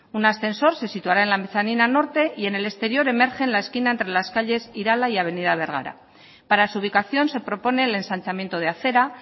un ascensor se situará en la mezanina norte y en el exterior emerge la esquina entre las calles irala y avenida bergara para su ubicación se propone el ensanchamiento de acera